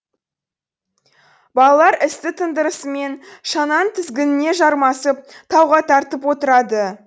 балалар істі тындырысымен шананың тізгініне жармасып тауға тартып отырады